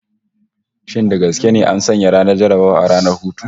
Shin da gaske ne an sanya ranar jarrabawa a ranar hutu?